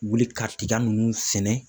Wuli ka tik ninnu sɛnɛ.